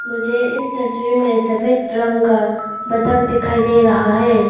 मुझे इस तस्वीर में सफेद रंग का बतख दिखाई दे रहा है।